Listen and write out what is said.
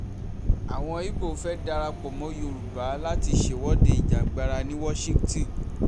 àwọn ibo fẹ́ẹ́ darapọ̀ mọ́ yorùbá láti ṣèwọ̀de ìjàngbara ní washington